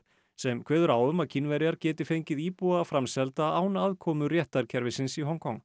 sem kveður á um að Kínverjar geti fengið íbúa framselda án aðkomu réttarkerfisins í Hong Kong